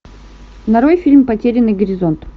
нарой фильм потерянный горизонт